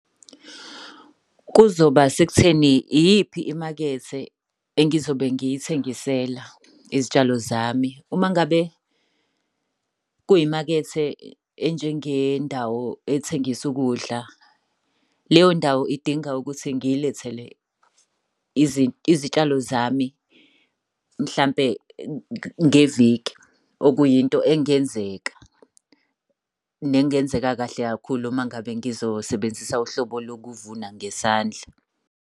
Kuzoba sekutheni iyiphi imakethe engizobe ngiyithengisela izitshalo zami. Uma ngabe kuyimakethe enjengendawo ethengisa ukudla, leyo ndawo idinga ukuthi ngiyilethele izitshalo zami mhlampe ngeviki. Okuyinto engenzeka, nezingenzeka kahle kakhulu uma ngabe ngizosebenzisa uhlobo lokuvuna ngezandla.